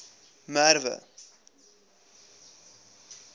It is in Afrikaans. merwe